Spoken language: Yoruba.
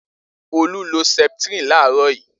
Olu lo Septrin láàárọ̀ yìí.